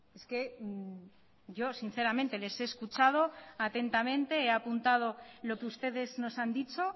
es que yo sinceramente les he escuchado atentamente he apuntado lo que ustedes nos han dicho